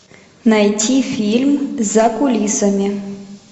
найти фильм за кулисами